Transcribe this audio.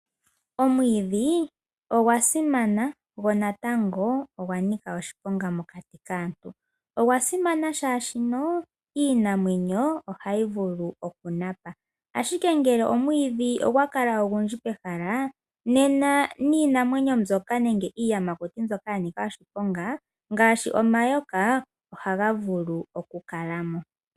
Omwiidhi ogwa simana go natango ogwa nika oshiponga mokati kaantu. Ogwa simana, oshoka iinamwenyo ohayi vulu okunapa, ashike ngele omwiidhi ogwa kala ogundji pehala nena niinamwenyo mbyoka nenge iiyamukti mbyoka ya nika oshiponga ngaashi omayoka ohaga vulu okukala mo.